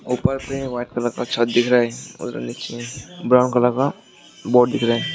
ऊपर में white colour का छत दिख रहा है ब्राउन कलर का बोर्ड दिख रहा है।